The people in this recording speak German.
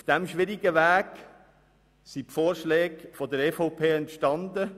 Auf diesem schwierigeren Weg sind die Vorschläge der EVP entstanden.